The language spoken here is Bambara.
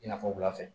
I n'a fɔ wulafɛ